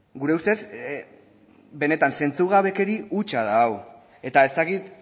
gure ustez benetan zentzugabekeria hutsa da hau eta ez dakit